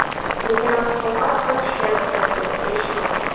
Lekin oziq-ovqat sotishga ruxsat yo‘q deyishmoqda.